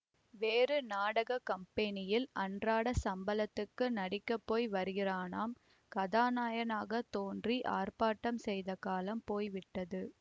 வேறு நாடக கம்பேனியில் அன்றாடச் சம்பளத்துக்கு நடிக்கப்போய் வருகிறானாம் கதாநாயகனாத் தோன்றி ஆர்ப்பாட்டம் செய்த காலம் போய்விட்டது